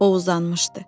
O uzanmışdı.